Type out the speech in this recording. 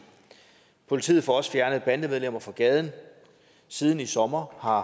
politiet får også fjernet bandemedlemmer fra gaden siden i sommer har